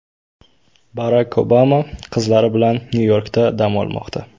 Barak Obama qizlari bilan Nyu-Yorkda dam olmoqda.